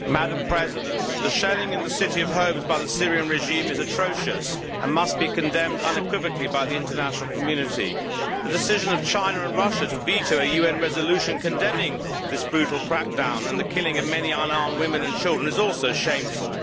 Madam President, the shelling in the city of Homs by the Syrian regime is atrocious and must be condemned unequivocally by the international community. The decision of China and Russia to veto a UN resolution condemning this brutal crackdown and the killing of many unarmed women and children is also shameful.